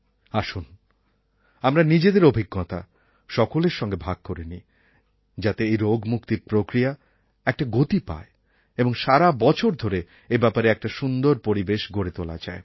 আসুন আমরা নিজেদের অভিজ্ঞতা সকলের সঙ্গে ভাগ করে নিই যাতে এই রোগমুক্তির প্রক্রিয়া একটা গতি পায় এবং সারা বছর ধরে এব্যাপারে একটা সুন্দর পরিবেশ গড়ে তোলা যায়